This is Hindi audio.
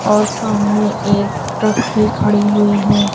और सामने एक ट्रक भी खड़ी हुई है।